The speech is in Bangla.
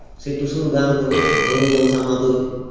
সেই টুসুর গান করি ঢোল ধামসা মাদোল